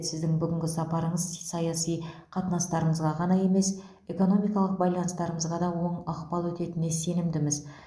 сіздің бүгінгі сапарыңыз саяси қатынастарымызға ғана емес экономикалық байланыстарымызға да оң ықпал ететініне сенімдіміз